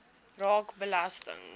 raak belasting